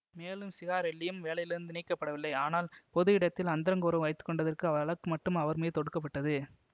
மேலும் சிகாரெல்லியும் வேலையிலிருந்து நீக்கப்படவில்லை ஆனால் பொது இடத்தில் அந்தரங்க உறவு வைத்துகொண்டதற்கான வழக்கு மட்டும் அவர்மீது தொடுக்கப்பட்டது